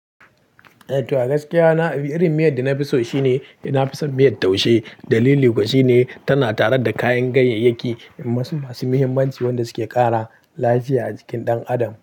Eh to gaskiya na, irin miyar da na fi so shine na fi son miyar taushe. Dalili kuwa shine tana tare da kayan ganyayyaki masu masu muhimmanci wanda suke kara lafiya a jikin ɗan adam.